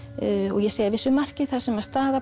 og ég segi að vissu marki þar sem að staða